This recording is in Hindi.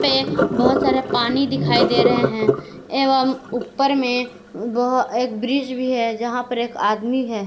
ये बहुत सारा पानी दिखाई दे रहे हैं एवं ऊपर में बह एक ब्रिज भी है जहां पर एक आदमी है।